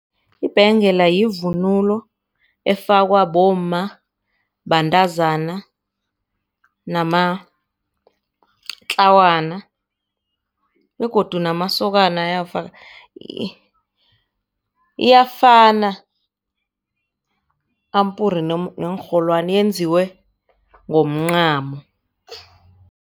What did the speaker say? Ibhengela yivunulo efakwa bomma, bantazana namatlawana begodu namasokana iyafana ampuri neenrholwani yenziwe ngomncamo.